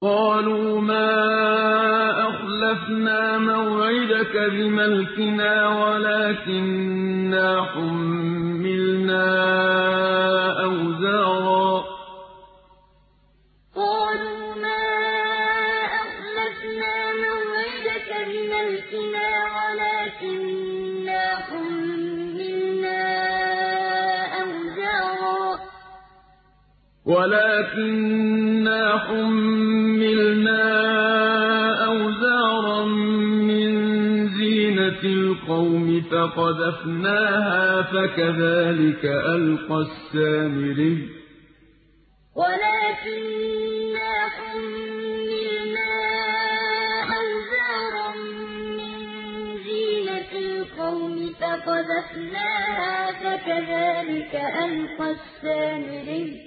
قَالُوا مَا أَخْلَفْنَا مَوْعِدَكَ بِمَلْكِنَا وَلَٰكِنَّا حُمِّلْنَا أَوْزَارًا مِّن زِينَةِ الْقَوْمِ فَقَذَفْنَاهَا فَكَذَٰلِكَ أَلْقَى السَّامِرِيُّ قَالُوا مَا أَخْلَفْنَا مَوْعِدَكَ بِمَلْكِنَا وَلَٰكِنَّا حُمِّلْنَا أَوْزَارًا مِّن زِينَةِ الْقَوْمِ فَقَذَفْنَاهَا فَكَذَٰلِكَ أَلْقَى السَّامِرِيُّ